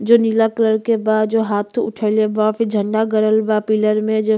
जो नीला कलर के बा। जो हाथ उठईले बा। फिर झंडा गड़ल बा पिलर में। जो --